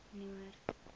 noord